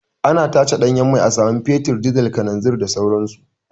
Ana tace ɗanyen mai a samu fetur, dizal, kalanzin da sauran su.